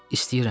İstəyirəm.